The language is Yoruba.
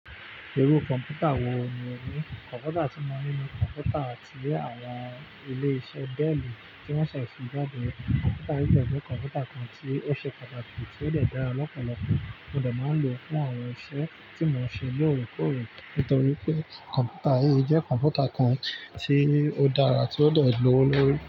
Irú kọ̀npútà wò ní o ní? Kọ̀npútà tí mo ní ni kọ̀npútà ti àwọn ilé-iṣẹ́ Dell tí wọ́n ṣẹ̀ sí jáde. Kọ̀mpútà yìí jẹ́ kọ̀mpútà kan tí ó ṣe pàtàkì tí ó dàgbà lọ́pọ̀lọpọ̀, mo dà máa ń lò fún àwọn iṣẹ́ tí mo ń ṣe lóòrèkóòrè. Nítorí pé kọ̀mpútà yìí jẹ́ kọ̀mpútà kan tí ó dára tí ó de lowo lórí.